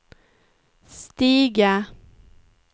stiga